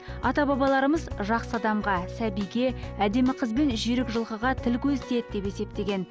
ата бабаларымыз жақсы адамға сәбиге әдемі қыз бен жүйрік жылқыға тіл көз тиеді деп есептеген